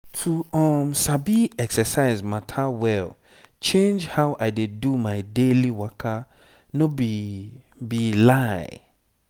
to sabi exercise matter well change how i dey do my daily waka no be be lie.